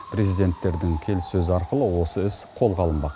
президенттердің келіссөзі арқылы осы іс қолға алынбақ